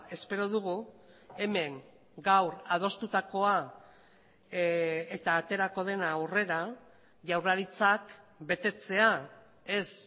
espero dugu hemen gaur adostutakoa eta aterako dena aurrera jaurlaritzak betetzea ez